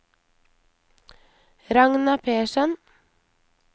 Ragna Persson